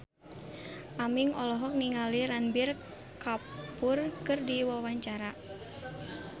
Aming olohok ningali Ranbir Kapoor keur diwawancara